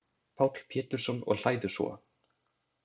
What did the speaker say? Páll Pétursson, og hlæðu svo.